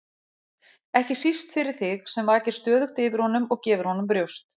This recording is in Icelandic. ekki síst fyrir þig sem vakir stöðugt yfir honum og gefur honum brjóst.